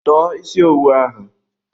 Tọọ isi owu ahụ!